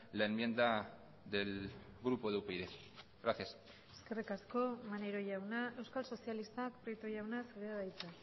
la enmienda del grupo de upyd gracias eskerrik asko maneiro jauna euskal sozialistak prieto jauna zurea da hitza